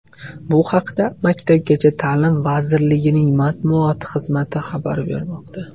Bu haqda Maktabgacha ta’lim vazirligining matbuot xizmati xabar bermoqda .